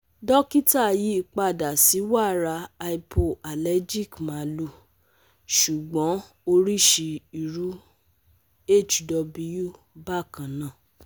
Dokita yi pada si wara hypoalergic malu sugbon orisi iru hw bakana